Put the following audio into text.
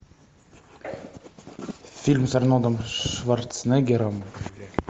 фильм с арнольдом шварценеггером